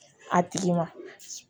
A tigi ma